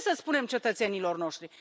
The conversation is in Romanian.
Ce să spunem cetățenilor noștri?